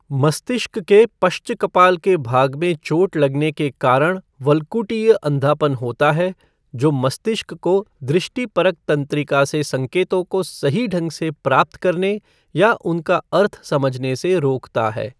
मस्तिष्क के पश्चकपाल के भाग में चोट लगने के कारण वल्कुटीय अंधापन होता है, जो मस्तिष्क को दृष्टिपरक तंत्रिका से संकेतों को सही ढंग से प्राप्त करने या उनका अर्थ समझने से रोकता है।